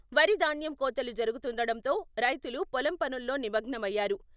వరి ధాన్యం కోతలు జరుగుతుండడంతో రైతులు పొలం పనుల్లో నిమగ్నమయ్యారు.